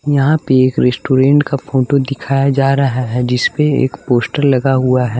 यहाँ पे एक रेस्टोरेंट का फोटो दिखाया जा रहा है जिस पे एक पोस्टर लगा हुआ है।